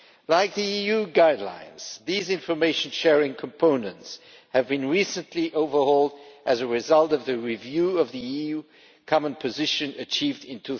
Like the EU guidelines, these information sharing components have been recently overhauled as a result of the review of the EU common position achieved in